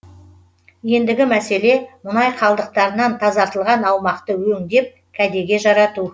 ендігі мәселе мұнай қалдықтарынан тазартылған аумақты өңдеп кәдеге жарату